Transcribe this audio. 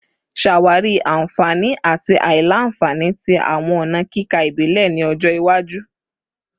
Ṣawari awọn anfani ati aila-nfani ti awọn ọna kika ibile ni ọjọ iwaju